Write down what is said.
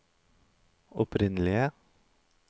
opprinnelige